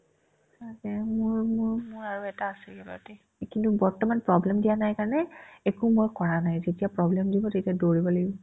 তাকে মোৰ মোৰ এটা আছেই বাকি কিন্তু বৰ্তমান problem দিয়া নাই কাৰণে একো মই কৰা নাই যেতিয়া problem দিব তেতিয়া দৌৰিব লাগিব